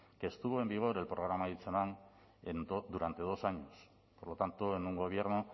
que estuvo en vigor el programa hitzeman durante dos años por lo tanto en un gobierno